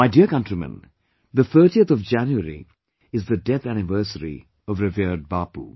My dear countrymen 30th January is the death anniversary of revered Bapu